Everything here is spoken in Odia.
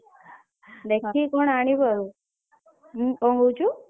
ଦେଖିକି କଣ ଆଣିବୁ ଆଉ କଣ କହୁଛୁ?